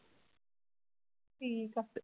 ਠੀਕ ਹੈ